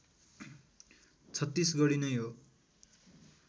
छत्तीसगढी नै हो